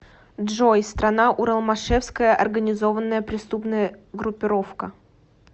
джой страна уралмашевская организованная преступная группировка